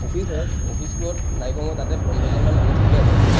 Office হয়, অফিচত নাই কমেও তাতে পোন্ধৰ জন মান মানুহ থাকে আৰু।